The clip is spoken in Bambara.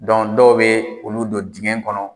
dɔw bɛ olu don dingɛ kɔnɔ